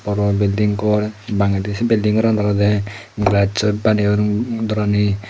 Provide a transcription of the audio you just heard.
boro belding gor bangedi se belding goran olowde brassoi baneyon dorani.